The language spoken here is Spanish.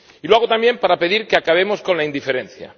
Y lo hago también para pedir que acabemos con la indiferencia.